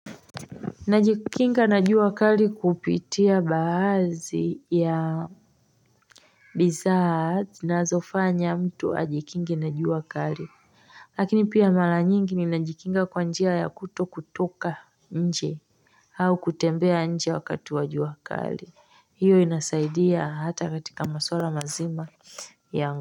Najikinga na jua kali kupitia baadhi ya, bidhaa zinazofanya mtu ajikinge na jua kali lakini pia mrla nyingi ninajikinga kwa njia ya kuto kutoka, nje au kutembea nje wakati wa jua kali, hiyo inasaidia hata katika maswala mazima ya.